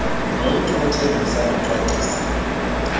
nommntu othengisa nocwangcisa